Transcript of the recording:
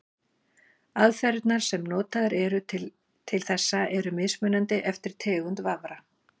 aðferðirnar sem notaðar eru til þessa eru mismunandi eftir tegund vafra